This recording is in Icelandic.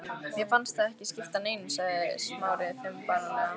Mér fannst það ekki skipta neinu sagði Smári þumbaralega.